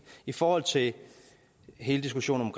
i forhold til hele diskussionen